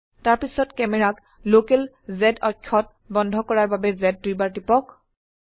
তাৰপিছত ক্যামেৰাক local z অক্ষত বন্ধ কৰাৰ বাবে z দুইবাৰ টিপক